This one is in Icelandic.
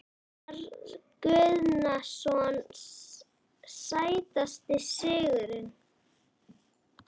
Einar Guðnason Sætasti sigurinn?